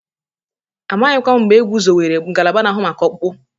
Amaghịkwa m mgbe egwuzowere ngalaba na-ahụ maka ọkpụkpụ.